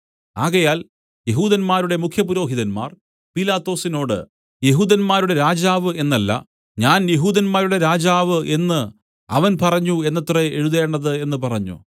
ആകയാൽ യെഹൂദന്മാരുടെ മുഖ്യപുരോഹിതന്മാർ പീലാത്തോസിനോട് യെഹൂദന്മാരുടെ രാജാവ് എന്നല്ല ഞാൻ യെഹൂദന്മാരുടെ രാജാവ് എന്നു അവൻ പറഞ്ഞു എന്നത്രേ എഴുതേണ്ടത് എന്നു പറഞ്ഞു